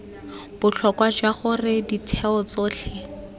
botlhokwa jwa gore ditheo tsotlhe